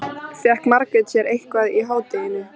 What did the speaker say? Fékk Margrét sér eitthvað í hádeginu?